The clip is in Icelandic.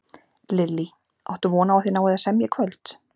Lillý: Áttu von á að þið náið að semja í kvöld?